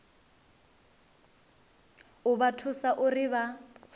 u vha thusa uri vha